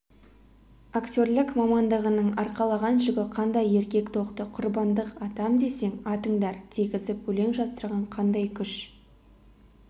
актерлік мамандығының арқалаған жүгі қандай еркек тоқты құрбандық атам десең атыңдар дегізіп өлең жаздырған қандай күш